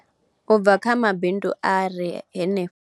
Ubva kha mabindu a re henefho nga tsini.